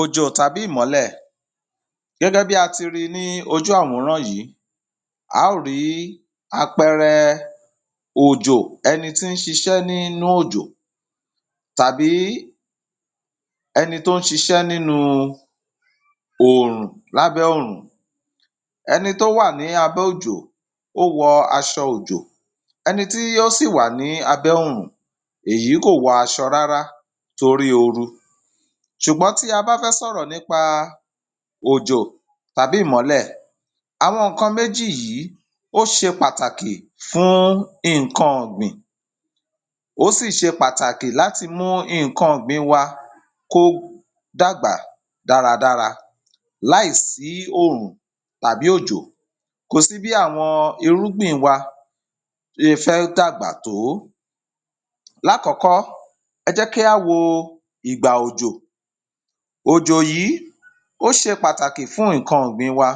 Ojo tàbí Mọlẹ̀. Gẹ́gẹ́ bí a ti ri ní ojú àwùrán yìí, a ó rí àpẹrẹ ojo ẹni tí ń ṣiṣẹ́ nínú ojo tàbí ẹni tó ń ṣiṣẹ́ nínú òòrùn. Lábẹ̀ ọrùn ẹni tó wà ní abẹ ojo ó wọ aṣọ ojo. Ẹni tí ó sí wà ní abẹ ọrùn èyí kò wọ aṣọ rárá torí ooru. Ṣùgbọ́n ti a bá fẹ sọ̀rọ̀ nípa ojo tàbí mọlẹ̀, àwọn nǹkan méjì yìí ó ṣe pàtàkì fún nǹkan ọgbìn. Ó sì ṣe pàtàkì láti mú nǹkan ọgbìn wá kó dàgbà dáradára láìsí ọrùn tàbí ojo. Kò sí bí àwọn irúgbìn wa ti ń fẹ́ dàgbà tó. Lákọ̀kọ́, ẹ jẹ́ kí á wo igba ojo. Ojo yìí ó ṣe pàtàkì fún nǹkan ọgbìn wa.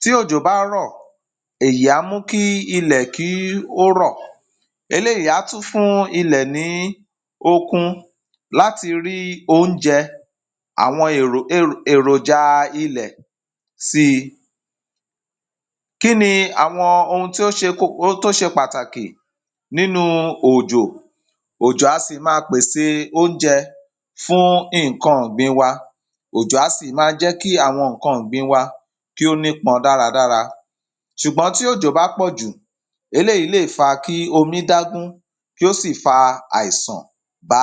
Ti ojo bá rọ̀, èyí a mún ki ilẹ̀ kí ó rọ̀. Eléyìí a tú fún ilẹ̀ ní okun láti rí oúnjẹ àwọn èròja ilẹ̀ sí. Kín ni awọn ohun tó ṣe, tó ṣe pàtàkì nínú ojo? Ojo a sì máa pése oúnjẹ fún nǹkan ọgbìn wa. Ojo a sì má jẹ́ kí àwọn nǹkan ọgbìn wa kí ó nípọn dáradára. Ṣùgbọ́n tí ojo bá pọ̀jù, eléyìí le fa ki omi dágún kí ó sì fa àìsàn bá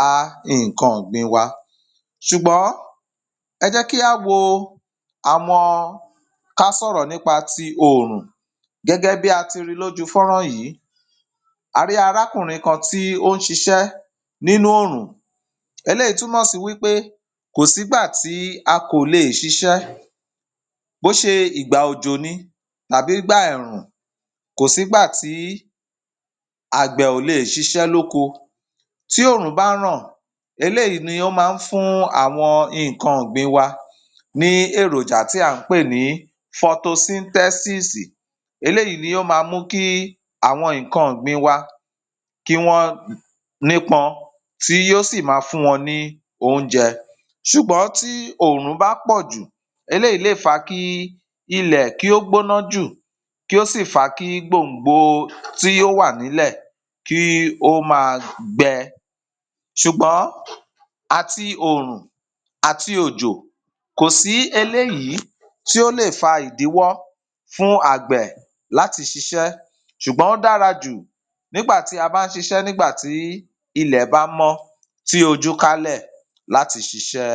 nǹkan ọgbìn wa. Ṣùgbọ́n ẹ jẹ́ kí á wo amọ. Ká sọ̀rọ̀ nípa ti ọrùn. Gẹ́gẹ́ bí a ti ri lójú fọrán yìí, a rí arákùnrin kan tí ó ń ṣiṣẹ́ nínú oòrùn. Eléyìí túnmọ́ sí wípe kò sí gbà tí a ko lè ṣiṣẹ́. Bó ṣe igba ojo ní tàbí igba ẹ̀rùn, kò sí gbà tí agbẹ̀ lè ṣiṣẹ́ lóko. Ti ọrùn bá ràn, eléyìí ni ó máa ń fún àwọn nǹkan ọgbìn wa ni èròjà tí a ń pè ní photosynthesis. Eléyìí ni ó máa mú kí àwọn nǹkan ọgbìn wa kí wọn nípọn, tí yó sì máa fun wọn ni ounjẹ. Ṣùgbọ́n ti ọrùn bá pọ̀jù, eléyìí le fa ki ilẹ kí ó gbónájù kí ó sì fa ki igbòǹgbò tí ó wà nílẹ̀ kí ó ma gbẹ. Ṣùgbọ́n àti ọrùn, àti ojo, kò sí eléyìí tí ó le fa ìdíwọ́ fún agbẹ̀ láti ṣiṣẹ́. Ṣùgbọ́n darajù nígbàtí a bá ń ṣiṣẹ́, nígbàtí ilẹ bá mọ tí ojú kálẹ̀ láti ṣiṣẹ.